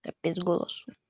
капец голосу